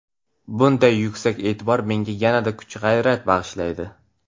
Bunday yuksak e’tibor menga yanada kuch-g‘ayrat bag‘ishlaydi”.